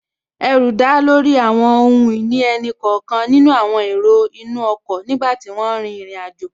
Ẹrù dá lórí àwọn ohun ìní ẹnì kọ̀ọ̀kan nínú àwọn èrò inú ọkọ̀ nígbàtí wọ́n n rin ìrìn àjò